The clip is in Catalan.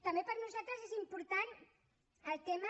també per nosaltres és important el tema